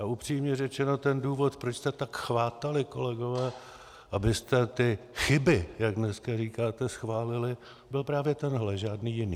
A upřímně řečeno, ten důvod, proč jste tak chvátali, kolegové, abyste ty chyby, jak dneska říkáte, schválili, byl právě tenhle, žádný jiný.